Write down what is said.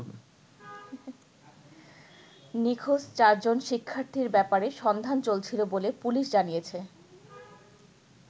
নিখোঁজ চারজন শিক্ষার্থীর ব্যাপারে সন্ধান চলছিল বলে পুলিশ জানিয়েছে।